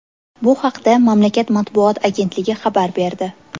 Bu haqda mamlakat matbuot agentligi xabar berdi .